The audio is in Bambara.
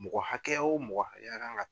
Mɔgɔ hakɛya o mɔgɔ hakɛya kan ŋa ta